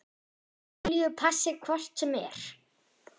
Júlíu passi hvort sem er.